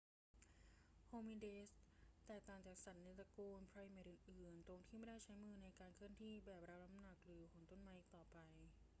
โฮมินิดส์แตกต่างจากสัตว์ในตระกูลไพรเมตอื่น ๆ ตรงที่ไม่ได้ใช้มือในการเคลื่อนที่ แบกรับน้ำหนัก หรือโหนต้นไม้อีกต่อไป